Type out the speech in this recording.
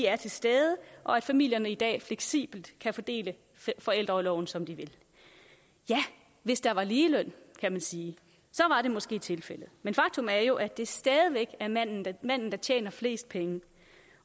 er til stede og at familierne i dag fleksibelt kan fordele forældreorloven som de vil ja hvis der var ligeløn kan man sige så var det måske tilfældet men faktum er jo at det stadig væk er manden der tjener flest penge